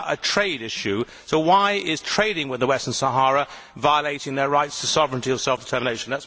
This is about a trade issue, so why is trading with the Western Sahara violating their rights to sovereignty or self determination?